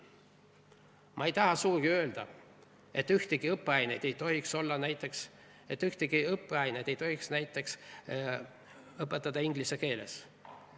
" Ma ei taha sugugi öelda, et ühtegi õppeainet ei tohiks õpetada näiteks inglise keeles.